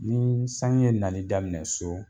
Ni sanji ye nali daminɛ so